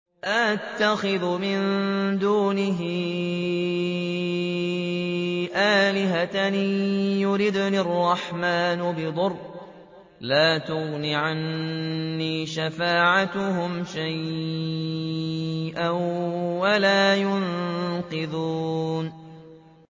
أَأَتَّخِذُ مِن دُونِهِ آلِهَةً إِن يُرِدْنِ الرَّحْمَٰنُ بِضُرٍّ لَّا تُغْنِ عَنِّي شَفَاعَتُهُمْ شَيْئًا وَلَا يُنقِذُونِ